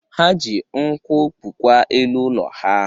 Ha ji nkwụ kpụkwa elu ụlọ ha.